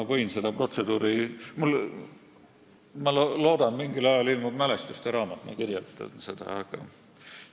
Ma loodan, et mingil ajal ilmub mälestuste raamat ja seal ma kirjeldan seda protseduuri.